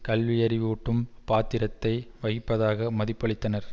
கல்வியறிவூட்டும் பாத்திரத்தை வகிப்பதாக மதிப்பளித்தனர்